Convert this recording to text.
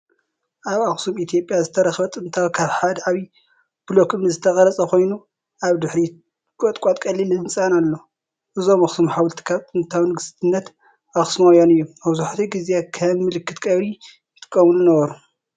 ኣብ ኣክሱም ኢትዮጵያ ዝተረኽበ ጥንታዊ ካብ ሓደ ዓቢ ብሎኮ እምኒ ዝተቐርጸ ኮይኑ፤ ኣብ ድሕሪት ቁጥቋጥን ቀሊል ህንጻን ኣሎ። እዞም ኣኽሱም ሓወልቲ ካብ ጥንታዊ ንግስነት ኣኽሱማውያን እዮም። መብዛሕትኡ ግዜ ከም ምልክት ቀብሪ ይጥቀሙ ነበሩ።